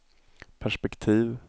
perspektiv